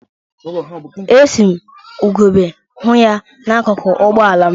E si m ugegbe hụ ya n'akụkụ ụgbọala m.